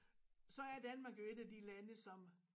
Så er Danmark jo et af de lande som